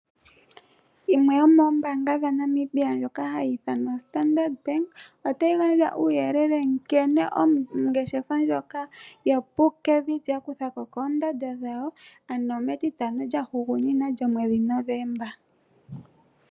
Yimwe yomoombaanga dhaNamibia ndjoka hayi ithanwa Standard Bank otayi gandja uuyelele nkene ongeshefa ndjoka yoPupkewitz yakuthako koondando dhayo ano metitano lyahugunina lyomwedhi Novemba.